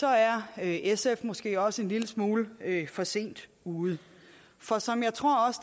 er er sf måske også en lille smule for sent ude for som jeg tror